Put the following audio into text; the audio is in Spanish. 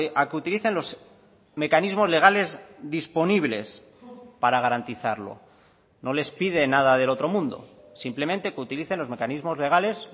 a que utilicen los mecanismos legales disponibles para garantizarlo no les piden nada del otro mundo simplemente que utilicen los mecanismos legales